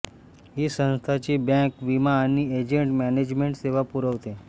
ही संस्थाचे बँक विमा आणि ऍसेट मॅनेजमेंट सेवा पुरवते